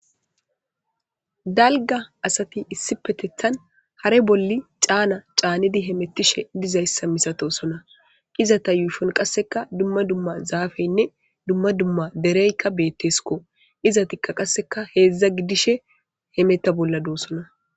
Dalga asati issi petethan hare bolli caana caanedi hemettishe dizayssa misatosona iza ta yuyfon qasseka dumma dumma zaafeynne dumma dumma dereykka beetteskko izatikka qasseka heedzdza gidishe hemeta bolla duossona.